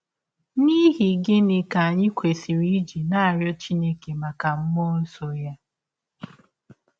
N’ihi gịnị ka anyị kwesịrị iji na - arịọ Chineke maka mmụọ nsọ ya?